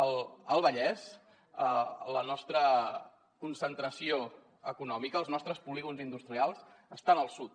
al vallès la nostra concentració econòmica els nostres polígons industrials estan al sud